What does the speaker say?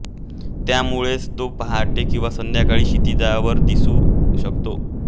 त्यामुळेच तो पहाटे किंवा संध्याकाळी क्षितिजावर दिसू शकतो